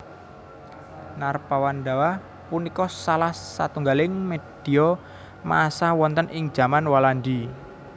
Narpawandawa punika salah satunggaling medhia massa wonten ing jaman Walandi